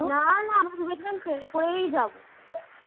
না না train এ করেই যাব।